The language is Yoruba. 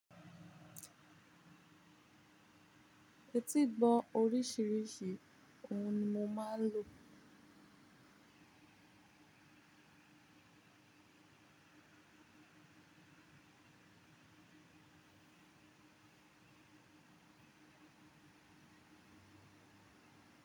Etígbọ oríṣiríṣi òun ni mo máa ń lò.